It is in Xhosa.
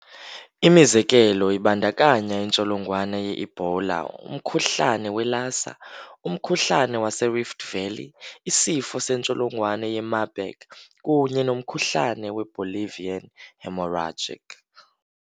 Imizekelo ibandakanya intsholongwane yeEbola, umkhuhlane weLassa, umkhuhlane waseRift Valley, isifo sentsholongwane yeMarburg kunye nomkhuhlane weBolivian hemorrhagic.